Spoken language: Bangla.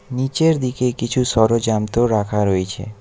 নিচের দিকে কিছু ষড়যান্ত্র রাখা রয়েছে।